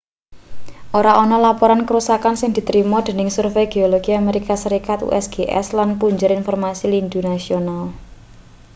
ora ana laporan karusakan sing ditrima dening survei geologi amerika serikat usgs lan punjer informasi lindhu nasional